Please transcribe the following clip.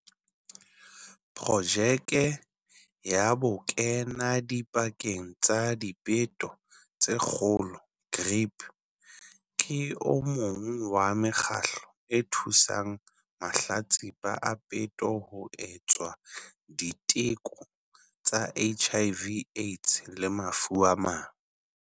Projeke ya Bokenadipakeng ba Dipeto tse Kgolo, GRIP, ke o mong wa mekgatlo e thusang mahlatsipa a peto ho etswa diteko tsa HIV Aids le mafu a mang.